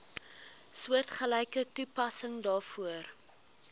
soortgelyke toepassing daarvoor